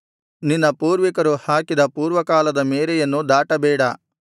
ನಿನ್ನ ಪೂರ್ವಿಕರು ಹಾಕಿದ ಪೂರ್ವಕಾಲದ ಮೇರೆಯನ್ನು ದಾಟಬೇಡ